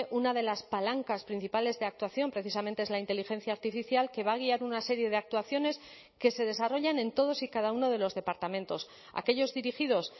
una de las palancas principales de actuación precisamente es la inteligencia artificial que va a guiar una serie de actuaciones que se desarrollan en todos y cada uno de los departamentos aquellos dirigidos